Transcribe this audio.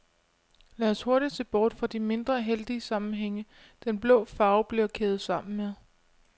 Lad os hurtig se bort fra de mindre heldige sammenhænge, den blå farve bliver kædet sammen med.